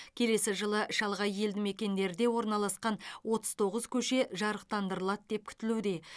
келесі жылы шалғай елді мекендерде орналасқан отыз тоғыз көше жарықтандырылады деп күтілуде